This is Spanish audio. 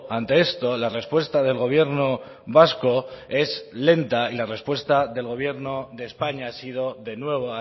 ante esto la respuesta del gobierno vasco es lenta y la respuesta del gobierno de españa ha sido de nuevo